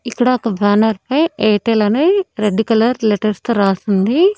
ఇక్కడ ఒక బ్యానర్ పై ఎయిర్టెల్ అనే రెడ్ కలర్ లెటర్స్ తో రాసుంది.